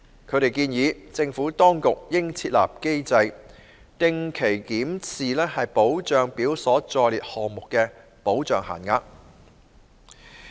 他們建議，政府當局應設立機制，定期檢視保障表所載列項目的保障限額。